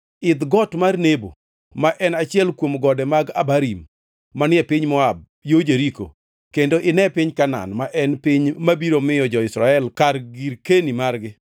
“Idh Got mar Nebo ma en achiel kuom gode mag Abarim manie piny Moab, yo Jeriko kendo ine piny Kanaan, ma en piny mabiro miyo jo-Israel kar girkeni margi.